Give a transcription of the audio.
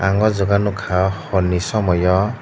ang o jaga nogka hor ni somoi yo.